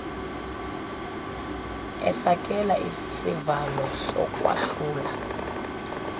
efakela isivalo sokwahlula